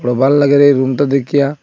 ভাল লাগেরে এই রুমটা দেখিয়া।